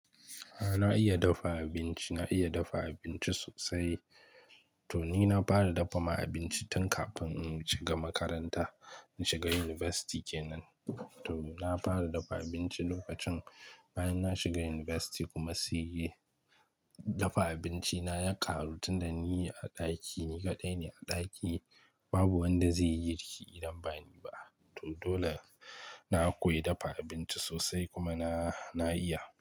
A'a na iya dafa abinci, na iya dafa abinci sosai. To ni na fara dafa ma abinci tun kafin in shiga makaranta, in shiga yunifasti kenan. To na fara dafa abinci lokacin bayan na shiga yunifasti kuma sai dafa abinci na ya karu tun da ni ne a ɗaki, ni kaɗai ne a ɗaki babu wanda zai yi girki idan ba ni ba. To dole na koyi dafa abinci sosai kuma na, na iya.